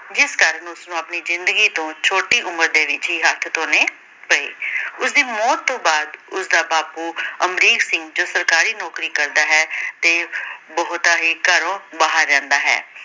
ਜਿਸ ਕਾਰਨ ਉਸ ਨੂੰ ਆਪਣੀ ਜ਼ਿੰਦਗੀ ਤੋਂ ਛੋਟੀ ਉਮਰ ਦੇ ਵਿੱਚ ਹੀ ਹੱਥ ਥੋਣੇ ਪਏ। ਉਸ ਦੀ ਮੌਤ ਤੋਂ ਬਾਅਦ ਉਸਦਾ ਬਾਪੂ ਅਮਰੀਕ ਸਿੰਘ ਜੋ ਸਰਕਾਰੀ ਨੌਕਰੀ ਕਰਦਾ ਹੈ ਤੇ ਬਹੁਤਾ ਹੀ ਘਰੋਂ ਬਾਹਰ ਰਹਿੰਦਾ ਹੈ।